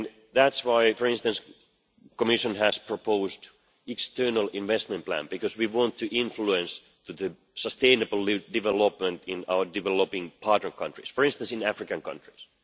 That is why the Commission has proposed an external investment plan, because we want to influence sustainable development in our developing partner countries, for instance in African countries.